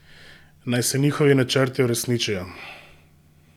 Naj se njihovi načrti uresničijo!